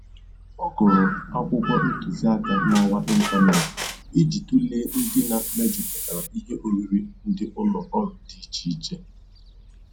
Ọ gụrụ akwụkwọ ntụziaka n'ọwa ịntaneetị iji tụlee ndịna mejupụtara ihe oriri ndị ụlọ ọrụ dị iche iche